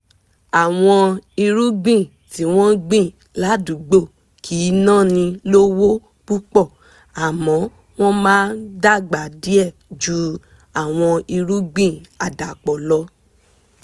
àwọn irúgbìn tí wọ́n gbìn ládùúgbò kì náni lówó púpọ̀ àmọ́ wọ́n máa dàgbà díẹ̀ ju àwọn irúgbìn àdàpọ̀ lọ